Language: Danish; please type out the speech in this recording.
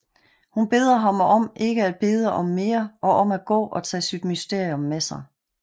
Hun beder ham om at ikke at bede om mere og om at gå og tage sit mysterium med sig